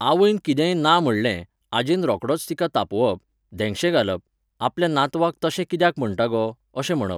आवयन कितेंय ना म्हणलें, आजयेन रोकडोच तिका तापोवप, धेंगशे घालप, आपल्या नातवाक तशें कित्याक म्हणटा गो, अशें म्हणप